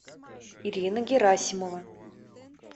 ирина герасимова